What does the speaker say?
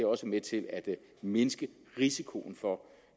også med til at mindske risikoen for